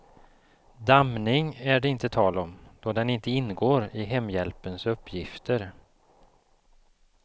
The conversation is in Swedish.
Dammning är det inte tal om, då den inte ingår i hemhjälpens uppgifter.